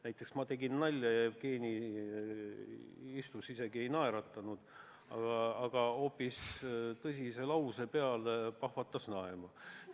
Näiteks täna ma tegin nalja ja Jevgeni istus, ei naeratanud, aga tõsise lause peale pahvatas naerma.